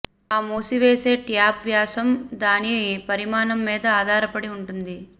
ఆ మూసివేసే ట్యూబ్ వ్యాసం దాని పరిమాణం మీద ఆధారపడి ఉంటుంది